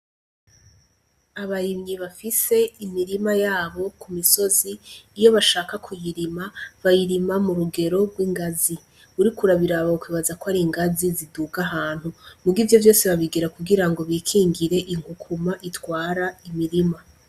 Abarimyi bafise imirima yabo ku misozi uyo bashaka kuyirima bayirima mu rugero rw'ingazi, uriko uraruraba wokwibaza ko ari ingazi ziduga ahantu, muga ivyo vyose babigira kugira ngo bikingire inkukuma itwara imirima.